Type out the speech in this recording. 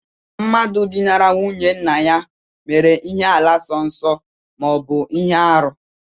Mmadụ dinara nwunye nna ya mere ihe àlà sọ nsọ ma ọ bụ ihe arụ